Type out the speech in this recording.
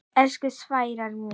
Elsku Sævar minn.